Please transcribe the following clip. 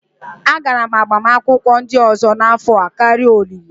Agara m agbamakwụkwọ ndị ọzọ n'afọ a karịa olili